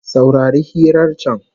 Saurari hirar can